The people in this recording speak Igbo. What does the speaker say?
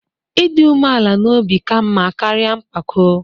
Ịdị umeala n'obi ka mma karịa mpako.